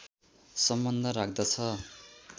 सम्बन्ध राख्दछ